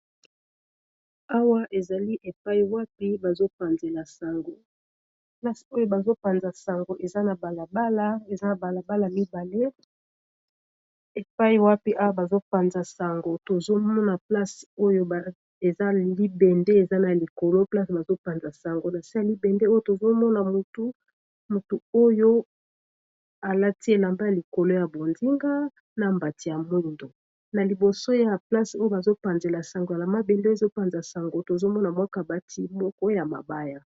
Awa ezali epai wapi bazo panzela sango eza na balabala mibale tozomona libende eza likolo, mutu oyo alati elamba ya likolo ya bonzenga, na mbati ya mwindo na liboso ya place oyo bazopanzela sango ya mabende ezopanza sango tozomona mwaka bati moko ya mabaya.